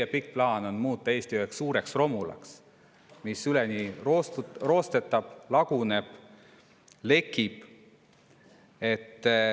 Kas teie pikk plaan on muuta Eesti üheks suureks romulaks, mis üleni roostetab, laguneb, lekib?